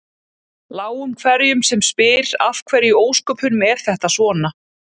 Láum hverjum sem spyr af hverju í ósköpunum er þetta svona?